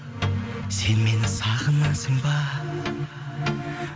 сен мені сағынасың ба